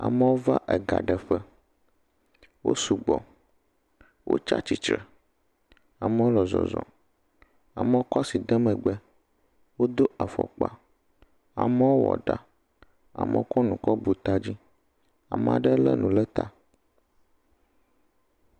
Amewo va ega ɖeƒe wo sugbɔ, wotsi atsitre, amewo le zɔzɔ, amewo kɔ asi de megbe, wodo afɔkpa, amewo wɔ ɖa, amewo kɔ nu kɔ bu ta dzi, ame aɖe lé nu ɖe ta.